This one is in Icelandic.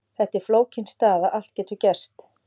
Þetta er flókin staða, allt getur gerst.